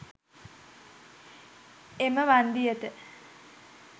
එම වන්දියට